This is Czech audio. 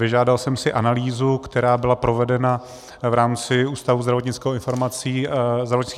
Vyžádal jsem si analýzu, která byla provedena v rámci Ústavu zdravotnických informací a statistiky.